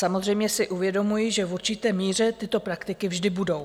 Samozřejmě si uvědomuji, že v určité míře tyto praktiky vždy budou.